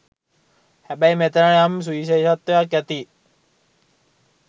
හැබැයි මෙතැන යම් සුවිශේෂත්වයක් ඇතියි